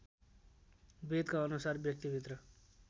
वेदका अनुसार व्यक्तिभित्र